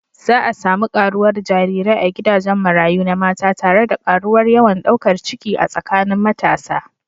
Za a sami karuwar jarirai a gidajen marayu na mata tare da karuwar yawan daukar ciki a tsakanin matasa.